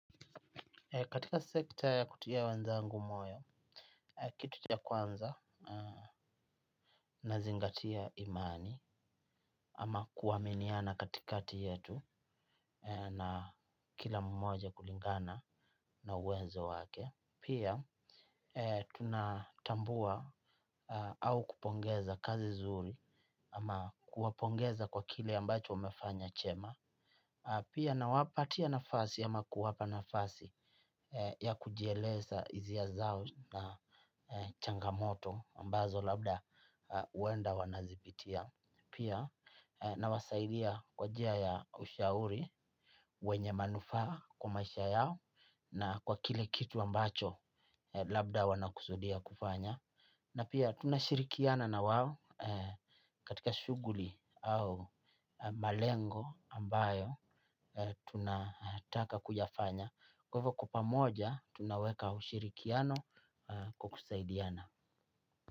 Katika sekta ya kutia wenzangu moyo kitu cha kwanza nazingatia amani ama kuaminiana kati yetu na kila mmoja kulingana na uwezo wake. Pia tunatambua au kupongeza kazi zuri ama kuwapongeza kwa kile ambacho wamefanya chema. Pia nawapatia nafasi ama kuwapa nafasi ya kujielesa hisia zao na changamoto ambazo labda huenda wanazipitia. Pia nawasaidia kwa njia ya ushauri wenye manufaa kwa maisha yao na kwa kile kitu ambacho labda wanakusudia kufanya. Na pia tunashirikiana na wao katika shughuli au malengo ambayo tunataka kuyafanya. Kwa hivyo kwa pamoja tunaweka ushirikiano kwa kusaidiana.